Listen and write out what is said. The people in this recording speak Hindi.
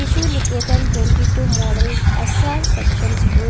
issue Niketan twenty two model SR section school --